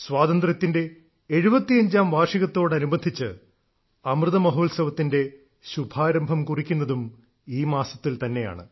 സ്വാതന്ത്ര്യത്തിന്റെ 75ാം വാർഷികത്തോടനുബന്ധിച്ച് അമൃതമഹോത്സവത്തിന്റെ ശുഭാരംഭം കുറിക്കുന്നതും ഈ മാസത്തിൽ തന്നെയാണ്